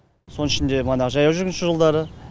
соның ішінде манағы жаяу жүргінші жолдары